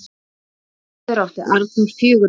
Áður átti Arnþór fjögur börn.